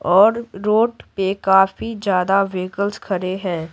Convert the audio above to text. और रोड पे काफी ज्यादा व्हीकल्स खड़े हैं।